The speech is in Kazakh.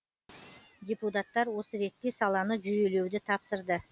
депутаттар осы ретте саланы жүйелеуді тапсырды